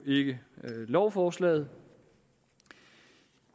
ikke lovforslaget